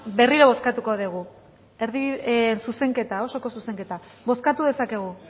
berriro bozkatuko dugu zuzenketa osoko zuzenketa bozkatu dezakegu